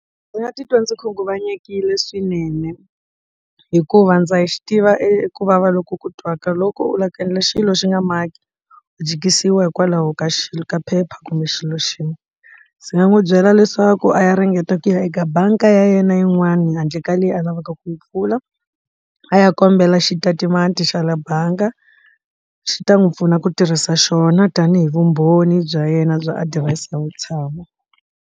Ndzi nga titwa ndzi khunguvanyekile swinene hikuva ndza hi xi tiva eku vava loko ku twaka loko u lava ku endla xilo xi nga maki jikisiwa hikwalaho ka xilo ka phepha kumbe xilo xin'we ndzi nga n'wi byela leswaku a ya ringeta ku ya eka bangi ya yena yin'wani handle ka leyi a lavaka ku pfula a ya kombela xitatimende xa le bangi xi ta n'wi pfuna ku tirhisa xona tanihi vumbhoni bya yena bya adirese ya vutshamo.